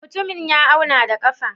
Mutumin ya auna da ƙafa?